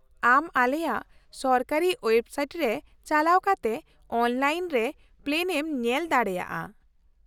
ᱼᱟᱢ ᱟᱞᱮᱭᱟᱜ ᱥᱚᱨᱠᱟᱨᱤ ᱳᱭᱮᱵᱥᱟᱭᱤᱴ ᱨᱮ ᱪᱟᱞᱟᱣ ᱠᱟᱛᱮ ᱚᱱᱞᱟᱭᱤᱱ ᱨᱮ ᱯᱞᱮᱱ ᱮᱢ ᱧᱮᱞ ᱫᱟᱲᱮᱭᱟᱜᱼᱟ ᱾